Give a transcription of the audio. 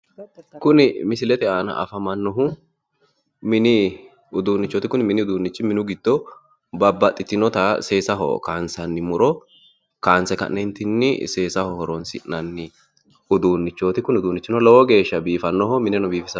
Kuni misilete aana afamannohu mini uduunnichooti Kuni mini uduunnichi mini giddo babbaxxinota seesaho kaansanni muro kaanse ka'ne seesaho horoonsi'nanni uduunnichooti Kuni uduunnichi lowo geeshsha biifannoho mineno biifisannoho yaate.